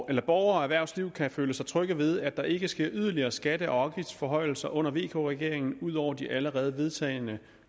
at borgere og erhvervsliv kan føle sig trygge ved at der ikke sker yderligere skatte og afgiftsforhøjelser under vk regeringen ud over de allerede vedtagne